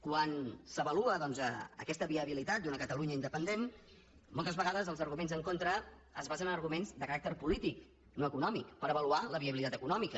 quan s’avalua doncs aquesta viabilitat d’una catalunya independent moltes vegades els arguments en contra es basen en arguments de caràcter polític no econòmic per avaluar la viabilitat econòmica